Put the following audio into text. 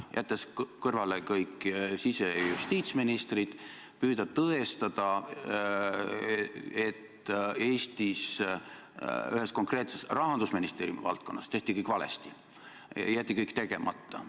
Jäetakse kõrvale kõik sise- ja justiitsministrid ja püütakse tõestada, et Eestis ühes konkreetses Rahandusministeeriumi valdkonnas tehti kõik valesti või jäeti kõik tegemata.